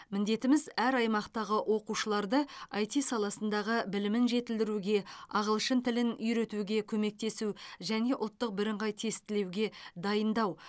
міндетіміз әр аймақтағы оқушыларды іт саласындағы білімін жетілдіруге ағылшын тілін үйретуге көмектесу және ұлттық бірыңғай тестілеуге дайындау